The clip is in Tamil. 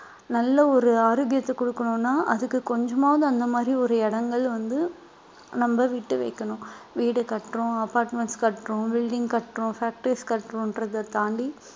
நல்ல ஒரு ஆரோக்கியத்தை கொடுக்கணும்ன்னா அதுக்கு கொஞ்சமாவது, அந்த மாதிரி ஒரு இடங்கள் வந்து நம்ம விட்டு வைக்கணும் வீடு கட்டுறோம் apartments கட்டுறோம் building கட்டுறோம் factories கட்டுறோம்ன்றதை தாண்டி